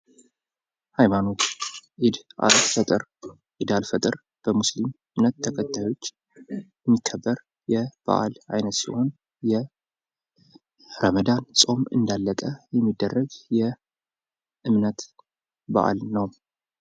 ሀይማኖት ኢዳል ፈጥር በሙስሊም እምነት ተከታዮች የሚከበር የበዓል አይነት ሲሆን የረመዳን ፆም እንዳለቀ የሚደረግ የእምነት በዓል ነዉ።